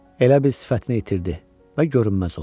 Elə bil sifətini itirdi və görünməz oldu.